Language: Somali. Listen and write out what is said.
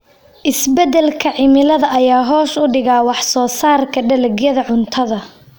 Isbeddelka cimilada ayaa hoos u dhigay wax soo saarka dalagyada cuntada.